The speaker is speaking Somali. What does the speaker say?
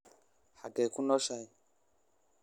xagee ku nooshahay